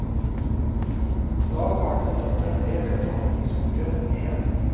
Nå har partene satt seg ned ved forhandlingsbordet igjen.